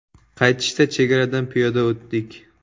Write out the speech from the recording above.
Qaytishda chegaradan piyoda o‘tdik.